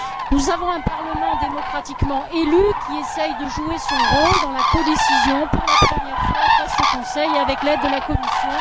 Nous avons un Parlement démocratiquement élu, qui essaie de jouer son rôle dans la codécision, pour la première fois face au Conseil, et avec l'aide de la Commission.